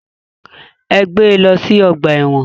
Ẹ gbé lọ sí ọgbà ẹ̀wọ̀n.